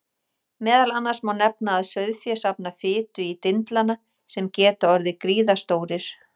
Meðal annars má nefna að sauðfé safnar fitu í dindlana sem geta orðið gríðarstórir.